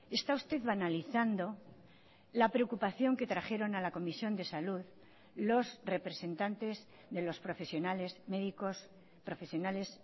está usted banalizando la preocupación que trajeron a la comisión de salud los representantes de los profesionales médicos profesionales